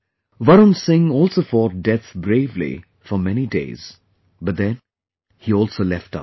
Varun Singh also fought death bravely for many days, but then he also left us